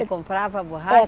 comprava a borracha? É